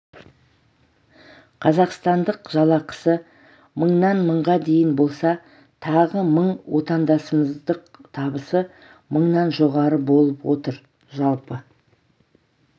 қазақстандық жалақысы мыңнан мыңға дейін болса тағы мың отандасымыздық табысы мыңнан жоғары болып отыр жалпы